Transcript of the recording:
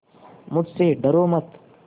मुझसे डरो मत